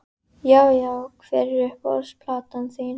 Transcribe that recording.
Já Já Hver er uppáhalds platan þín?